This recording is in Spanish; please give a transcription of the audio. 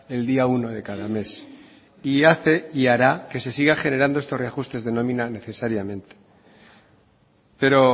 el día uno de cada mes y hace y hará que se sigan generando estos reajustes de nómina necesariamente pero